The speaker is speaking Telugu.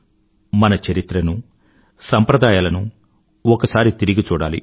మన చరిత్రను సంప్రదయాలను ఒకసారి తిరిగి చూడాలి